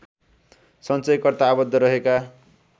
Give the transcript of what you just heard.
सञ्चयकर्ता आबद्ध रहेका